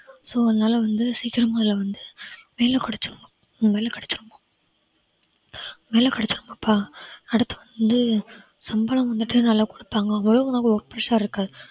so அதனால வந்து சீக்கிரமா அதுல வந்து வேலை கிடைச்சரனும் வேலை கிடைச்சரனும் வேலை கிடைச்சரனும்ப்பா அடுத்து வந்து சம்பளம் வந்துட்டு நல்லா குடுப்பாங்க work pressure இருக்காது